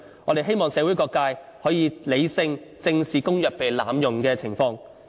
我們希望社會各界可以理性正視公約被濫用的情況。